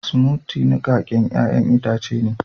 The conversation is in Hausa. "Smoothie " niƙaken ƴayan itace ne.